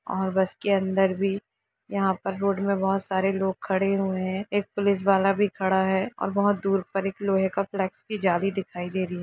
और बस के अंदर भी यहाँ पर रोड में बहुत सारे लोग खड़े हुए हैं एक पुलिस वाला भी खड़ा है और बहुत दूर पर एक लोहे की जाली दिखाई दे रही है ।